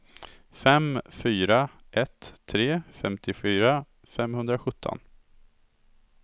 fem fyra ett tre femtiofyra femhundrasjutton